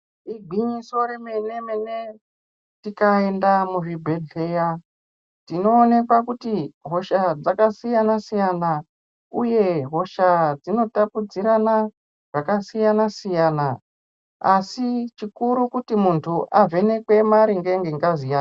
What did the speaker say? Igwinyiso remene mene tikaenda muzvibhehleya tinoonekwa kuti hosha dzakasiyana siyana uye hosha dzinotapudzikirana zvakasiyana siyana asi chikuru kuti muntu avhenekwe maringe ngengazi yake.